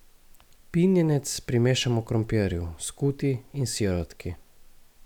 Pinjenec primešamo krompirju, skuti in sirotki.